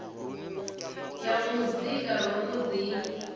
ya muzika ro no ḓi